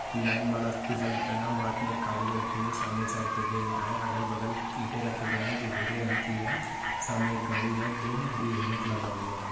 ये लाइन वाला टी-शर्ट पहना हुआ आदमी एक कागज रखे हुए है। सामने के साइड पर देख रहा है अगल बगल इटे रखे गए हैं जो भूरे रंग की है सामने एक गाड़ी है दो जो हेलमेट लगा हुआ है।